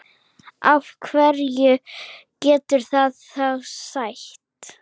Hverju getur það þá sætt?